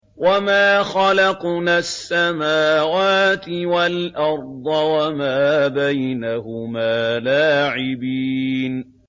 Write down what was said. وَمَا خَلَقْنَا السَّمَاوَاتِ وَالْأَرْضَ وَمَا بَيْنَهُمَا لَاعِبِينَ